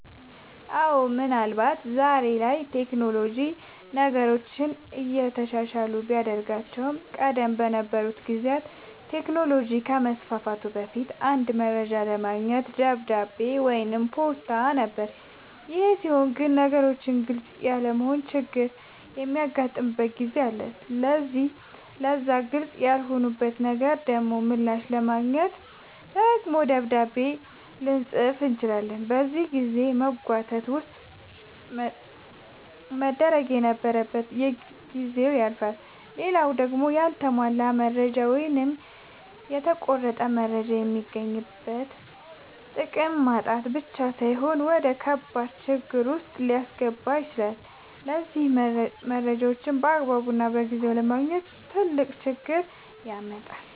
አወ ምን አልባት ዛሬ ላይ ቴክኖሎጅ ነገሮችን የተሻለ ቢያደርጋቸውም ቀደም በነበሩ ጊዜያት ቴክኖሎጅ ከመስፋፋቱ በፊት አንድ መረጃ ለማግኘት በደብዳቤ ወይም በፖስታ ነበር ይሄ ሲሆን ግን ነገሮች ግልፅ ያለመሆን ችግርም የሚያጋጥምበት ጊዜ አለ ስለዚህ ለዛ ግልፅ ላልሆነለት ነገር ደሞ ምላሽ ለማግኘት ደግሞ ደብዳቤ ልፅፍ ይችላል በዚህ የጊዜ መጓተት ውስጥ መደረግ የነበረበት ነገር ጊዜው ያልፍበታል። ሌላው ደሞ ያልተሟላ መረጃ ወይም የተቆረጠ መረጃ የሚገኝበትን ጥቅም ማጣት ብቻ ሳይሆን ወደከባድ ችግር ዉስጥ ሊያስገባ ይችላል ስለዚህ መረጃን ባግባቡና በጊዜው አለማግኘት ትልቅ ችግር ያመጣል